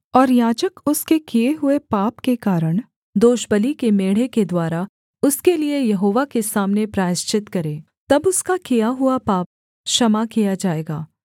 और याजक उसके किए हुए पाप के कारण दोषबलि के मेढ़े के द्वारा उसके लिये यहोवा के सामने प्रायश्चित करे तब उसका किया हुआ पाप क्षमा किया जाएगा